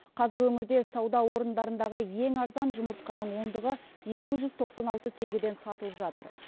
қазір өңірде сауда орындарындағы ең арзан жұмыртқаның ондығы екі жүз тоқсан алты теңгеден сатылып жатыр